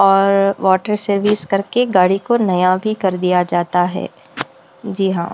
और water service करके गाड़ी को नया भी कर दिया जाता है जी हाँ --